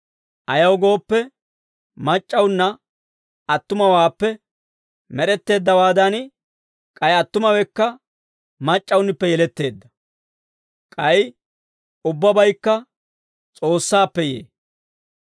Ayaw gooppe, mac'c'awunna attumawaappe med'etteeddawaadan, k'ay attumawekka mac'c'awunippe yeletteedda. K'ay ubbabaykka S'oossaappe yee.